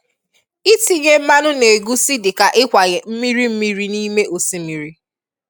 itinye mmanụ negusi dịka ikwanye mmiri mmiri nime osimmiri